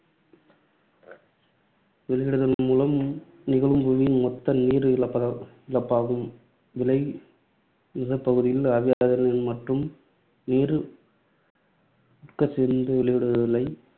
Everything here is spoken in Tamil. வெளியிடுதல் மூலமும் நிகழும் புவியின் மொத்த நீர் இழப்பா~ இழப்பாகும். விளை நிலப்பகுதிகளில் ஆவியாதல் மற்றும் நீர் உட்கசிந்து வெளியிடுதலைத்